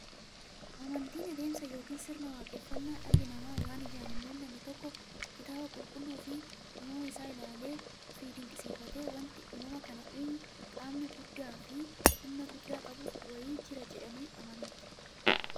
Amantiin adeemsa yookiin sirna waaqeffannaa dhalli namaa waan ijaan hin mullanne tokko kitaaba qulqulluufi uumama isaa isaa ilaaleefi dinqisiifatee, wanti uumama kana uumu qaamni guddaafi humna guddaa qabu wa'ii jira jedhanii amanuuti.